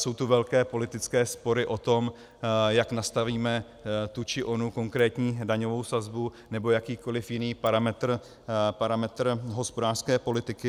Jsou tu velké politické spory o tom, jak nastavíme tu či onu konkrétní daňovou sazbu nebo jakýkoliv jiný parametr hospodářské politiky.